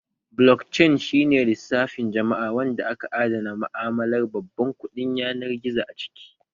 Blokcain shi ne lissafin jama'a wanda aka adana ma'amalar babban kuɗin yanar gizo a ciki